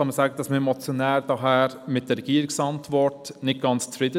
Daher sind wir als Motionäre mit der Regierungsantwort nicht ganz zufrieden.